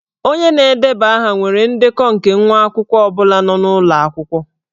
Onye na-edeba aha nwere ndekọ nke nwa akwụkwọ ọ bụla nọ n'ụlọ akwụkwọ.